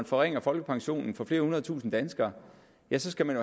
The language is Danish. forringer folkepensionen for flere hundrede tusinde danskere så skal man